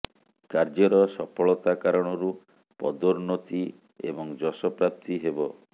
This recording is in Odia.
କାର୍ଯ୍ୟର ସଫଳତା କାରଣରୁ ପଦୋନ୍ନତି ଏବଂ ଯଶ ପ୍ରାପ୍ତି ହେବ